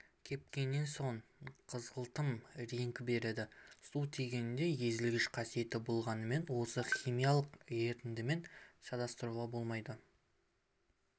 кепкеннен соң қызғылтым реңк береді су тигенде езілгіш қасиеті болғанымен оны химиялық ерітіндімен шатастыруға болмайды